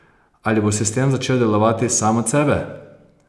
Ali bo sistem začel delovati sam od sebe?